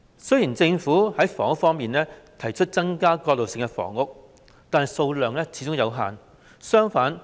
雖然在房屋方面，政府提出增加過渡性房屋，但數量始終有限。